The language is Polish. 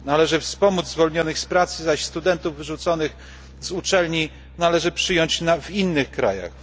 Należy wspomóc zwolnionych z pracy, zaś studentów wyrzuconych z uczelni należy przyjąć w innych krajach.